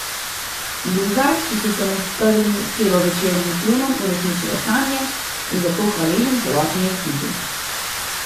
Luzar, ki so se mu s prvim celovečernim filmom uresničile sanje, je za to hvaležen celotni ekipi.